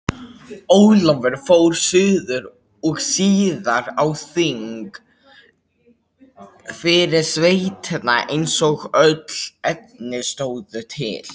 Ólafur fór suður og síðar á þing fyrir sveitina eins og öll efni stóðu til.